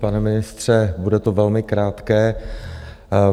Pane ministře, bude to velmi krátké.